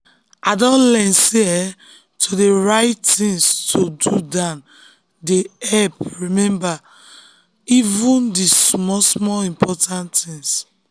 i don learn sey um to dey write things to um do down dey dey help um remember even the small-small important things.